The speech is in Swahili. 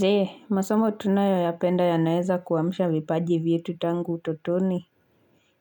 Jee, masomo tunayoyapenda yanaeza kuamsha vipaji vyetu tangu utotoni